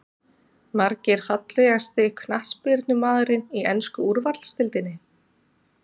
Margir Fallegasti knattspyrnumaðurinn í ensku úrvalsdeildinni?